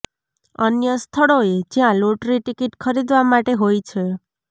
અન્ય સ્થળોએ જ્યાં લોટરી ટિકિટ ખરીદવા માટે હોય છે